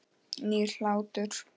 Nýr hlátur.